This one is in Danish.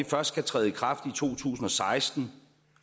først skal træde i kraft i to tusind og seksten